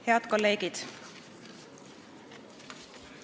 Head kolleegid!